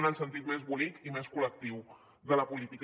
en el sentit més bonic i més col·lectiu de la política